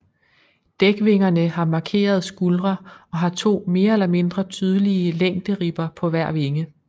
Dækvingerne har markerede skuldre og har to mere eller mindre tydelige længderibber på hver vinge